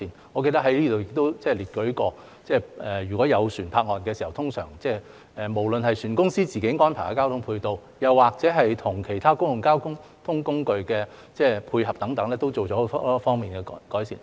我記得在這裏亦列舉過，如果有船泊岸時，無論是船公司自行安排的交通配套，又或與其他公共交通工具的配合等都作了很多方面的改善。